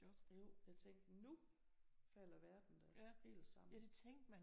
Jo jeg tænkte nu falder verden da helt sammen